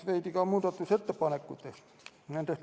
Veidi muudatusettepanekutest.